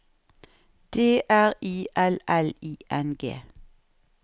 D R I L L I N G